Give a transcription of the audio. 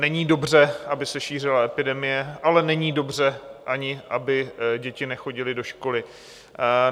Není dobře, aby se šířila epidemie, ale není dobře ani, aby děti nechodily do školy.